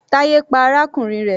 Taye pa arákùnrin rẹ̀.